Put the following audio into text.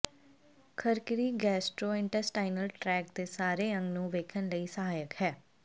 ਖਰਕਿਰੀ gastrointestinal tract ਦੇ ਸਾਰੇ ਅੰਗ ਨੂੰ ਵੇਖਣ ਲਈ ਸਹਾਇਕ ਹੈ